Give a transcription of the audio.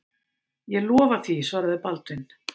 Ég lofa því, svaraði Baldvin.